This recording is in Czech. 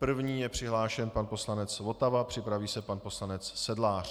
První je přihlášen pan poslanec Votava, připraví se pan poslanec Sedlář.